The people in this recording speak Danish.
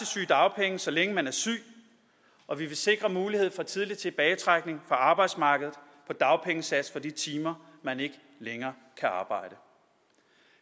sygedagpenge så længe man er syg og vi vil sikre mulighed for tidlig tilbagetrækning fra arbejdsmarkedet på dagpengesats for de timer man ikke længere kan arbejde